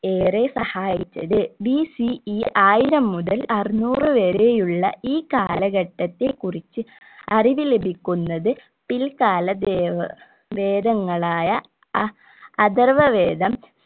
ഏറെ സഹായിച്ചത് BCE ആയിരം മുതൽ അറുന്നൂർ വരെയുള്ള ഈ കാലഘട്ടത്തെ കുറിച്ച് അറിവു ലഭിക്കുന്നത് പിൽ കാല ദേവ വേദങ്ങളായ എ അഥർവ വേദം